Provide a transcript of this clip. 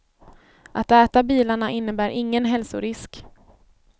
Att äta bilarna innebär ingen hälsorisk.